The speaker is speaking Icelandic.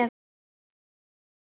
Hvar eiga þau að byrja?